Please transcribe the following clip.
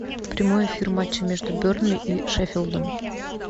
прямой эфир матча между бернли и шеффилдом